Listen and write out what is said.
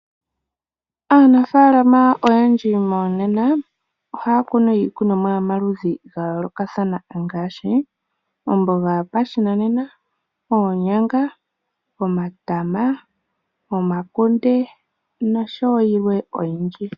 Aanafalama oyendji monena ohaya kunu iikunomwa yomaludhi gayoloka thana ngashi omboga yopashinanena, oonyanga, omatama, omakunde nosho yilwe oyindji.